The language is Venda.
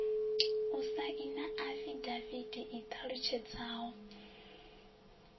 u saina afidavithi i ṱalutshedzaho